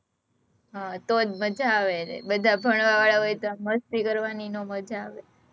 હં તો જ મજા આવે ને, બધા ભણવા વાળા હોય તો મસ્તી કરવાની નો મજા આવે